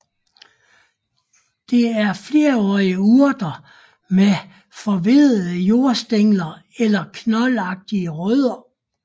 Det er flerårige urter med forveddede jordstængler eller knoldagtige rødder